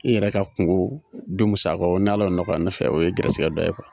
N yɛrɛ ka kungow du musakaw ni ala y'o nɔgɔya n'ala y'o nɔgɔya ne fɛ o ye gɛɛrɛsɛgɛ dɔ ye kuwa